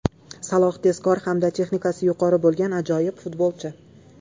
Saloh – tezkor hamda texnikasi yuqori bo‘lgan ajoyib futbolchi.